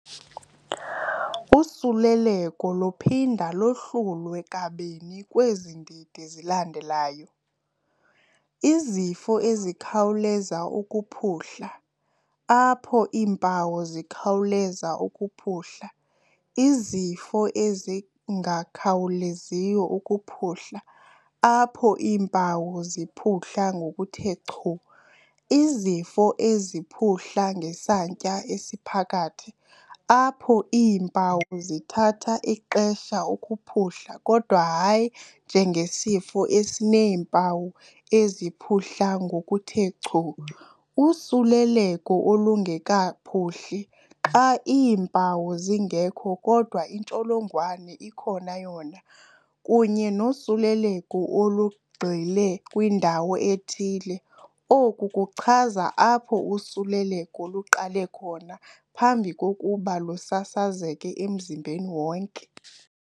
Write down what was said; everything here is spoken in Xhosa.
Usuleleko luphinda lohlulwe kabini kwezi ndidi zilandelayo, izifo ezikhawuleza ukuphuhla, apho iimpawu zikhawuleza ukuphuhla, izifo ezingakhawuleziyo ukuphuhla, apho iimpawu ziphuhla ngokuthe chu, izifo eziphuhla ngesantya esiphakathi, apho iimpawu zithatha ixeshana ukuphuhla kodwa hayi njengesifo esineempawu eziphuhla ngokuthe chu, usuleleko olungekaphuhli xa iimpawu zingekho kodwa intsholongwane ikhona yona, kunye nosuleleko olugxile kwindawo ethile, oku kuchaza apho usuleleko luqale khona phambi kokuba lusasazeke emzimbeni wonke.